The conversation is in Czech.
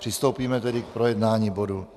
Přistoupíme tedy k projednávání bodu